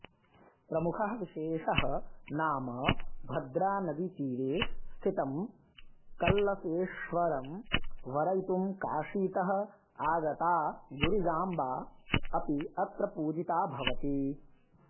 प्रमुखः विशेषः नाम भद्रानदीतीरे स्थितं कळसेश्वरं वरयितुं काशीतः आगता गिरिजाम्बा अपि अत्र पूजिता भवति